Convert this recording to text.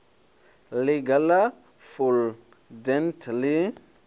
ḽiga ḽa full dent ḽi